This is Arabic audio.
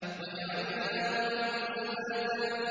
وَجَعَلْنَا نَوْمَكُمْ سُبَاتًا